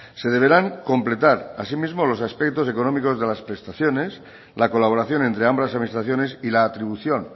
se deberán completar asimismo los aspectos económicos de las prestaciones la colaboración entre ambas administraciones y la atribución